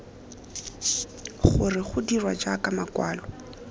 gore go dirwa ka makwalo